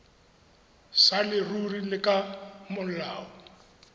sa leruri le ka molao